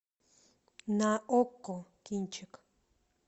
на окко кинчик